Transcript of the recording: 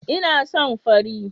Ina son fari